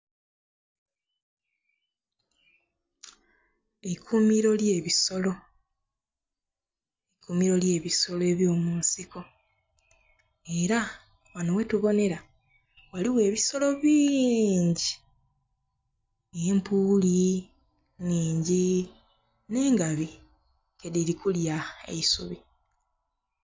Eikumiro lye bisolo, eikumiro lye bisolo ebyo munsiko era wano wetubonera waliwo ebisolo bingi, empuuli nnhingi ne ngabi nga diri kulya eisubi